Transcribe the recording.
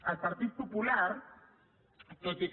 el partit popular tot i que